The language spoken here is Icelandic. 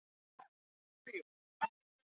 Jæja, bless. sagði hún og sneri sér við.